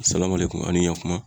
Salamalekum ani yan kumu